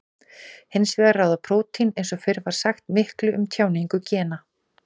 Hins vegar ráða prótín eins og fyrr var sagt miklu um tjáningu gena.